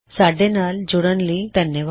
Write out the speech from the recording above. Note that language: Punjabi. ਸਾੱਡੇ ਨਾਲ ਜੂੜਨ ਲਈ ਧੰਨਵਾਦ